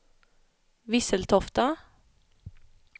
Visseltofta